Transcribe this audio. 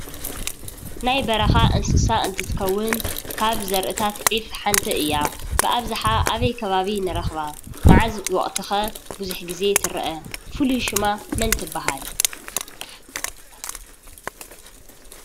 ናይ በረኻ እንስሳ እንትኸውን ካብ ዘርእታት ዒፍ ሓንቲ እያ። ብኣብዛሓ ኣበይ ከባቢ ንረኽባ? መዓዝ ወቅቲ ከ ቡዙሕ ግዜ ትረኣ? ፉሉይ ሽማ መን ትባሃል?